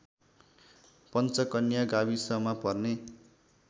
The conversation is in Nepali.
पञ्चकन्या गाविसमा पर्ने